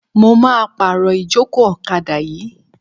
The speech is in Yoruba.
Mo máa pàrọ̀ ìjókòó ọ̀kadà yìí.